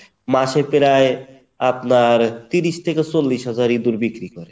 মাসে প্রায় ত্রিশ থেকে চল্লিশ হাজার ইঁদুর বিক্রি করে